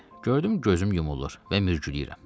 Gördüm gözüm yumulur və mürgülüyürəm.